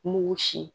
Mugu sin